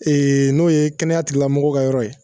Ee n'o ye kɛnɛya tilamɔgɔw ka yɔrɔ ye